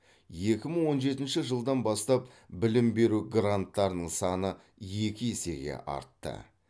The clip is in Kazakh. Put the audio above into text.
екі мың он жетінші жылдан бастап білім беру гранттарының саны екі есеге артты